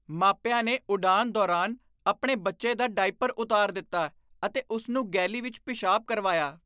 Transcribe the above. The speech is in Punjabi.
ਮਾਪਿਆਂ ਨੇ ਉਡਾਣ ਦੌਰਾਨ ਆਪਣੇ ਬੱਚੇ ਦਾ ਡਾਇਪਰ ਉਤਾਰ ਦਿੱਤਾ ਅਤੇ ਉਸ ਨੂੰ ਗੈਲੀ ਵਿੱਚ ਪਿਸ਼ਾਬ ਕਰਵਾਇਆ।